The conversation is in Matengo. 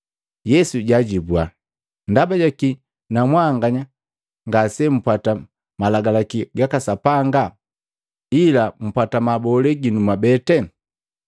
Yesu jaajibua, “Ndabajaki na mwanganya ngase mpwata malagalaki gaka Sapanga ila mpwata mabolee ginu mwabete?